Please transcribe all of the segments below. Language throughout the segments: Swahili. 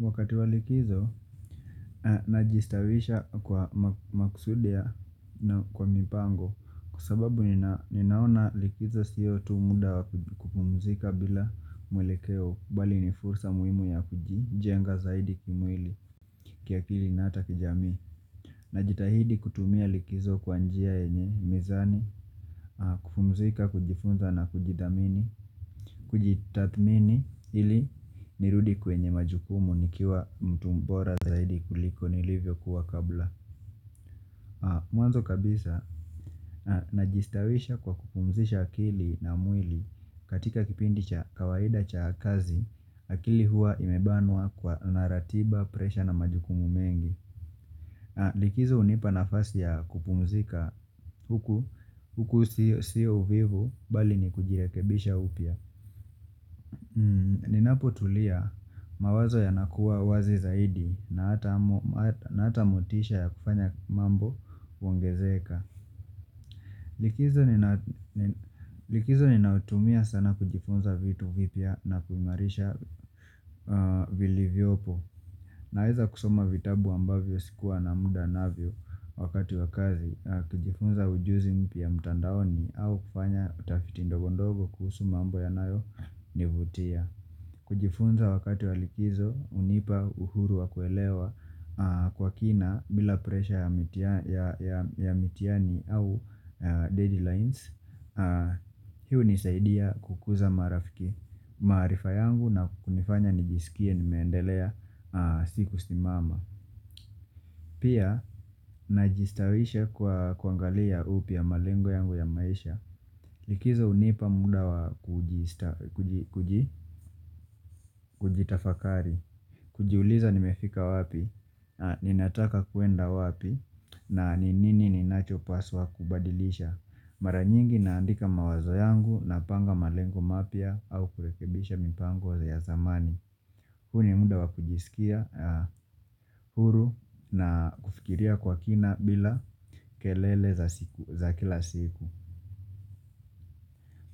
Wakati wa likizo najistawisha kwa makusudi ya na kwa mipango Kwa sababu ninaona likizo siyo tu muda kupumzika bila mwelekeo Bali ni fursa muhimu ya kujijenga zaidi kimwili kiakili na ata kijamii na jitahidi kutumia likizo kwa njia enye mizani kupumzika kujifunza na kujidhamini kujitathmini ili nirudi kwenye majukumu nikiwa mtu mbora zaidi kuliko nilivyo kuwa kabla Mwanzo kabisa najistawisha kwa kupumzisha akili na mwili katika kipindi cha kawaida cha kazi akili hua imebanwa kwa na ratiba presha na majukumu mengi Likizo hunipa nafasi ya kupumzika huku huku siyo vivo bali ni kujirekebisha upya Ninapo tulia mawazo yanakuwa wazi zaidi na hata motisha ya kufanya mambo huongezeka Likizo ninaotumia sana kujifunza vitu vipya na kuimarisha vili vyopo Naeza kusoma vitabu ambavyo sikuwa na muda navyo wakati wa kazi kujifunza ujuzi mpya mtandaoni au kufanya utafiti ndogondogo kuhusu mambo yanayo nivutia kujifunza wakati walikizo unipa uhuru wa kuelewa kwa kina bila presha ya mitiani au deadlines Hii hunisaidia kukuza marafiki maarifa yangu na kunifanya nijisikie nimeendelea siku simama Pia najistawisha kuangalia upya malengo yangu ya maisha Likizo unipa muda wa kujitafakari kujiuliza nimefika wapi Ninataka kuenda wapi na ni nini ninacho paswa kubadilisha Mara nyingi naandika mawazo yangu Napanga malengo mapya au kurekebisha mipango ya zamani Huni muda wa kujisikia huru na kufikiria kwa kina bila kelele za kila siku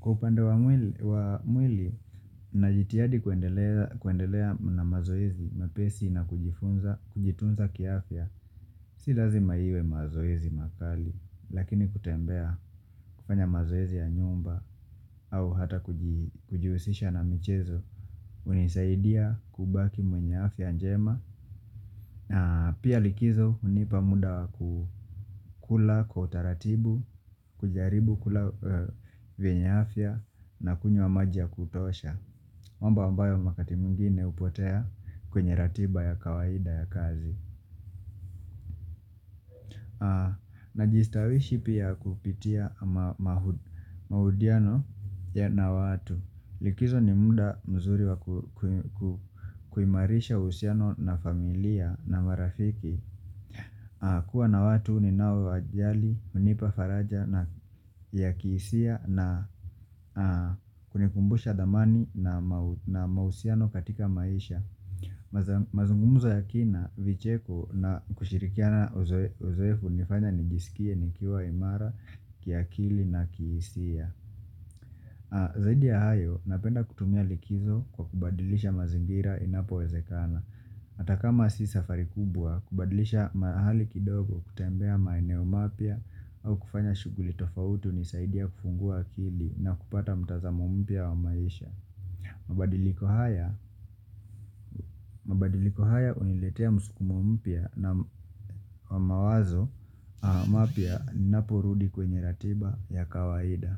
Kwa upande wa mwili wa mwili, na jitiyadi kuendeleza kuendelea na mazoezi, mapesi na kujifunza, kujitunza kiafya Si lazima iwe mazoezi makali Lakini kutembea kufanya mazoezi ya nyumba au hata kujiusisha na michezo unisaidia kubaki mwenye afya njema na pia likizo unipa muda kukula kwa utaratibu kujaribu kula venya afya na kunywa maji ya kutosha mambo ambayo makati mwingine upotea kwenye ratiba ya kawaida ya kazi Najistawishi pia kupitia maudiano ya na watu Likizo ni muda mzuri wa kuimarisha usiano na familia na marafiki kuwa na watu ni nawe wa jali, hunipa faraja ya kihisia na kunikumbusha dhamani na mausiano katika maisha Mazungumuzo ya kina vicheko na kushirikia na uzoefu nifanya nijisikie nikiwa imara kia kili na kihisia Zaidi ya hayo napenda kutumia likizo kwa kubadilisha mazingira inapo wezekana Atakama si safari kubwa kubadilisha mahali kidogo kutembea maeneo mapya au kufanya shuguli tofauti nisaidia kufungua kili na kupata mtazamo mpya wa maisha mabadiliko haya uniletea msukumo mpya na mawazo mapia napurudi kwenye ratiba ya kawaida.